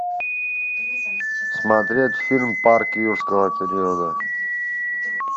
смотреть фильм парк юрского периода